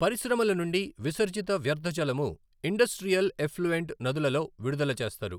పరిశ్రమల నుండి విసర్జిత వ్యర్థజలము ఇండస్ట్రియల్ ఎఫ్లూయంట్ నదులలో విడుదల చేస్తారు.